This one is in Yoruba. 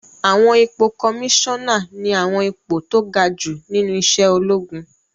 Àwọn ipò kọmísánà ní àwọn ipò tó ga jù nínú iṣẹ́ ológun